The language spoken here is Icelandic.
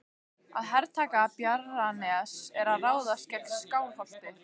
Að hertaka Bjarnanes er að ráðast gegn Skálholti.